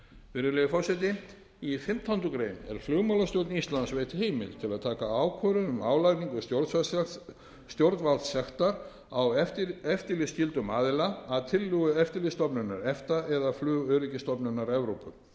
virðulegi forseti í fimmtándu grein er flugmálastjórn íslands veitt heimild til að taka ákvörðun um álagningu stjórnvaldssektar á eftirlitsskyldan aðila að tillögu eftirlitsstofnunar efta eða flugöryggisstofnunar evrópu